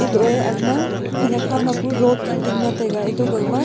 etohe agama khenak hama pu road chu dingle taiga eto gangma